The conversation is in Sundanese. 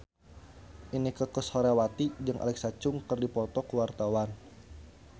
Inneke Koesherawati jeung Alexa Chung keur dipoto ku wartawan